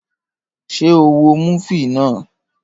Ṣé o wo múfì náà?